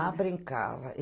Ah, brincava.